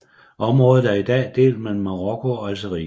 Området er i dag delt mellem Marokko og Algeriet